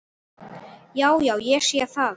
Já, já. ég sé það.